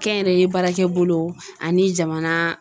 Kɛnyɛrɛye baarakɛ bolo ani jamana